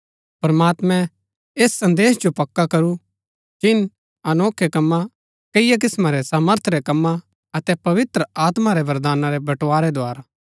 प्रमात्मैं ऐस संदेश जो पक्का करू चिन्ह अनोखै कमां कैईआ किस्‍मां रै सामर्थ रै कमां अतै पवित्र आत्मा रै वरदाना रै बंटबारै द्धारा